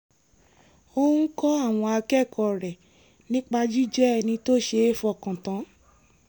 ó ń kọ́ àwọn akẹ́kọ̀ọ́ rẹ̀ nípa jíjẹ́ ẹni tó ṣe é fọkàn tán